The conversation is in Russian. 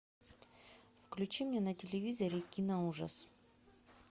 включи мне на телевизоре киноужас